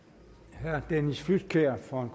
herre dennis flydtkjær for en